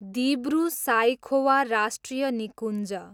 दिब्रु साइखोवा राष्ट्रिय निकुञ्ज